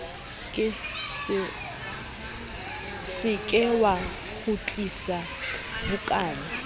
se ke wa kgutlisa bukana